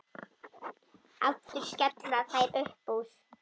Aftur skella þær upp úr.